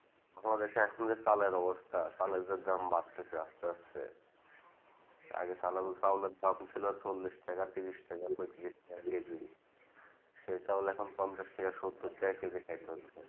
আমাদের দেশে যা চালের অবস্থা চালের যে দাম বাড়তেছে আস্তে আস্তে আগে চাউলের দাম ছিল চল্লিশ টাকা ত্রিশ টাকা পঁয়ত্রিশ নিয়া কেজি সেই চাউল এখন কম করে সত্তর টাকা কেজি চলছে